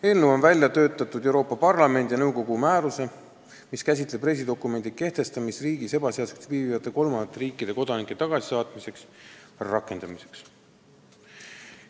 Eelnõu on välja töötatud Euroopa Parlamendi ja nõukogu määruse, mis käsitleb reisidokumendi kehtestamist riigis ebaseaduslikult viibivate kolmandate riikide kodanike tagasisaatmiseks, rakendamiseks.